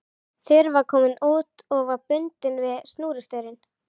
Þura var komin út og var bundin við snúrustaurinn.